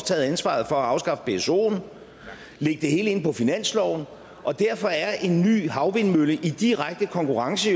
taget ansvaret for at afskaffe psoen lægge det hele ind på finansloven og derfor er en ny havvindmølle jo i direkte konkurrence